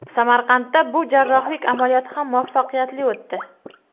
Samarqandda bu jarrohlik amaliyoti ham muvaffaqiyatli o‘tdi.